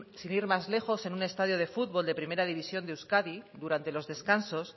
sin ir más lejos en un estadio de fútbol de primera división de euskadi durante los descansos